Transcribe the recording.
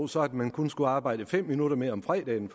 så at man kun skulle arbejde fem minutter mere om fredagen